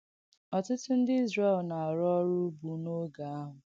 Ọ̀tùtụ ndị Ìzrēl na-àrụ̀ ọ̀rụ̀ ùgbù n’ògē àhụ̀.